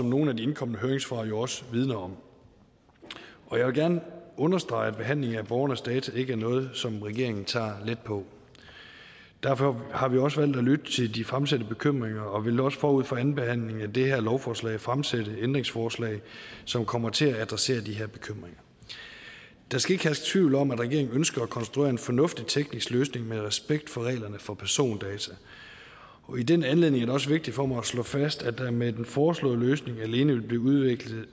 nogle af de indkomne høringssvar jo også vidner om jeg vil gerne understrege at behandlingen af borgernes data ikke er noget som regeringen tager let på derfor har vi også valgt at lytte til de fremsatte bekymringer og vil også forud for andenbehandlingen af det her lovforslag fremsætte ændringsforslag som kommer til at adressere de her bekymringer der skal ikke herske tvivl om at regeringen ønsker at konstruere en fornuftig teknisk løsning med respekt for reglerne for persondata i den anledning er det også vigtigt for mig at slå fast at der med den foreslåede løsning alene vil blive udvekslet